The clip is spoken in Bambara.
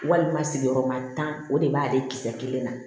Walima sigiyɔrɔma tan o de b'ale kisɛ kelen na